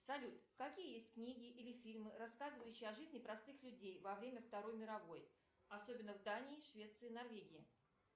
салют какие есть книги или фильмы рассказывающие о жизни простых людей во время второй мировой особенно в дании швеции норвегии